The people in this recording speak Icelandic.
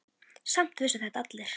Samt vissu þetta allir.